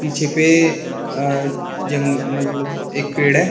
पीछे पे अह जंगल मतलब एक पेड़ है।